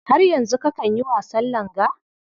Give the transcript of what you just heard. Har yanzu kakan yi wasan langa?